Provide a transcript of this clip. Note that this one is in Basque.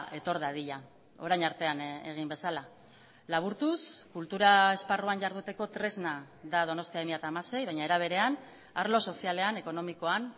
etor dadila orain artean egin bezala laburtuz kultura esparruan jarduteko tresna da donostia bi mila hamasei baina era berean arlo sozialean ekonomikoan